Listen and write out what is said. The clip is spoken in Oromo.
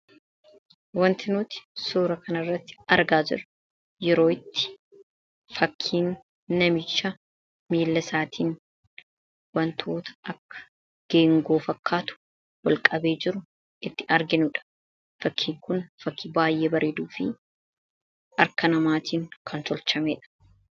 Kan nuti suura kana irratti argaa jirru yeroo itti fakiin namicha miila isaaniin wanta akka geengoo fakkaatu ol qabee jiru itti arginudha. Fakiin Kun baay'ee kan bareeduu fi harka namaan kan tolfamedha.